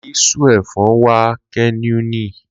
Li suu e fon wa'a keneuni.